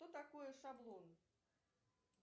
что такое шаблон